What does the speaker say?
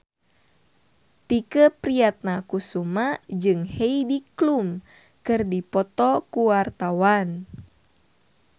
Tike Priatnakusuma jeung Heidi Klum keur dipoto ku wartawan